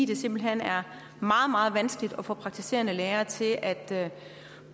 det simpelt hen er meget meget vanskeligt at få praktiserende læger til at